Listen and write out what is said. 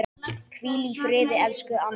Hvíl í friði, elsku Anna.